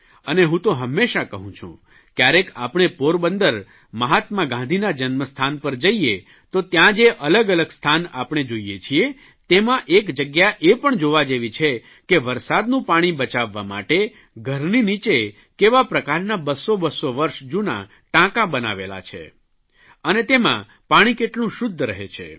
અને હું તો હંમેશા કહું છું કયારેય આપણે પોરબંદર મહાત્મા ગાંધીના જન્મસ્થાન પર જઇએ તો ત્યાં જે અલગઅલગ સ્થાન આપણે જોઇએ છીએ તેમાં એક જગ્યા એ પણ જોવા જેવી છે કે વરસાદનું પાણી બચાવવા માટે ઘરની નીચે કેવા પ્રકારના બસો બસો વર્ષ જૂના ટાંકા બનાવેલા છે અને તેમાં પાણી કેટલું શુદ્ધ રહે છે